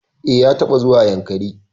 E, ya taɓa zuwa Yankari.